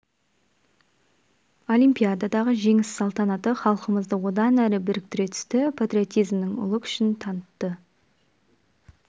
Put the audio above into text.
олимпиададағы жеңіс салтанаты халқымызды одан әрі біріктіре түсті патриотизмнің ұлы күшін танытты